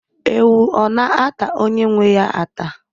Ewu ọ na-ata onye nwe ya ata?